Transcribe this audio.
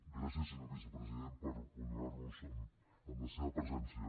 gràcies senyor vicepresident per honorar nos amb la seva presència